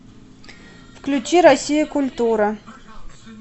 включи россия культура